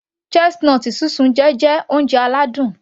Chestnut sísun jẹ́ oúnjẹ aládùn